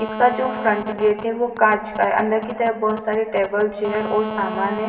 इसका जो front gate है वो कांच का है। अंदर की तरफ बहुत सारी टेबल चेयर और सामान है।